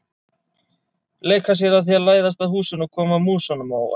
Leika sér að því að læðast að húsinu og koma músunum á óvart.